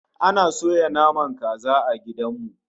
Ana soya naman kaza a gidan mu